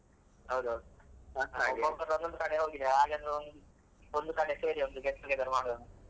ಹೌದೌದು ಒಬ್ಬೊಬ್ಬರು ಒಂದೊಂದು ಕಡೆ ಹೋಗಿದ್ದಾರೆ ಹಾಗೇನಾದ್ರೂ ಒಂದು ಕಡೆ ಸೇರಿ ಒಂದು get together ಮಾಡುವ ಅಂತ.